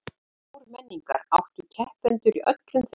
Ármenningar áttu keppendur í öllum þrepum